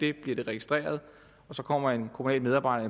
er det bliver det registreret og så kommer der en kommunal medarbejder